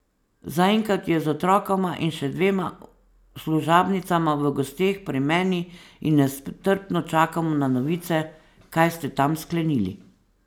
Zaenkrat je z otrokoma in še dvema služabnicama v gosteh pri meni in nestrpno čakamo na novice, kaj ste tam sklenili.